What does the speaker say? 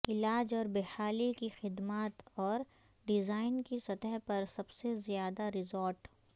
علاج اور بحالی کی خدمات اور ڈیزائن کی سطح پر سب سے زیادہ رزارٹ